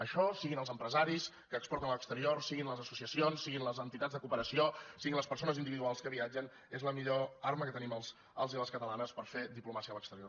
això siguin els empresaris que exporten a l’exterior siguin les associacions siguin les entitats de cooperació siguin les persones individuals que viatgen és la millor arma que tenim els i les catalanes per fer diplomàcia a l’exterior